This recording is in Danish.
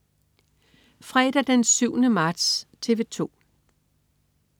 Fredag den 7. marts - TV 2: